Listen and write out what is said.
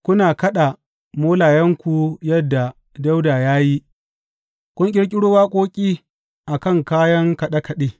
Kuna kaɗa molayenku yadda Dawuda ya yi kuna ƙirƙiro waƙoƙi a kan kayan kaɗe kaɗe.